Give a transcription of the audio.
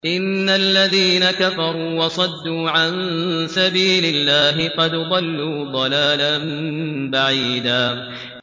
إِنَّ الَّذِينَ كَفَرُوا وَصَدُّوا عَن سَبِيلِ اللَّهِ قَدْ ضَلُّوا ضَلَالًا بَعِيدًا